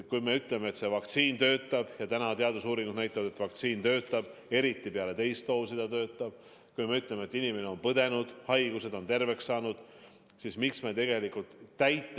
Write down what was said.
Kui me ütleme, et vaktsiin toimib – ja teadusuuringud näitavad, et vaktsiin toimib, eriti peale teist doosi –, ja kui me ütleme, et inimene on haiguse läbi põdenud ja terveks saanud, siis miks me tegelikult.